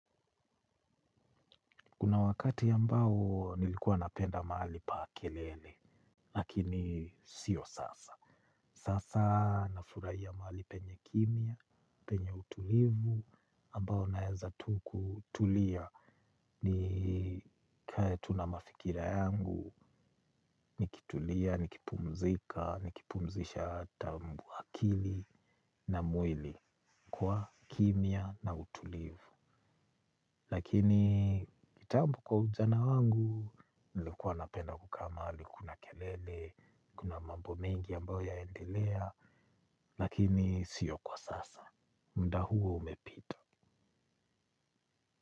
Kuna wakati ambao nilikuwa napenda mahali pa kelele, lakini sio sasa. Sasa nafuraia mahali penye kimya, penye utulivu ambao naeza tu kutulia nikae tu na mafikira yangu. Nikitulia, nikipumzika, nikipumzisha akili na mwili kwa kimya na utulivu. Lakini kitambu kwa ujana wangu, nilikuwa napenda kukaa mahali kuna kelele, kuna mambo mengi ambayo yaendelea, lakini sio kwa sasa, muda huo umepita.